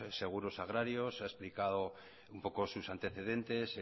seguros agrarios se ha explicado un poco sus antecedentes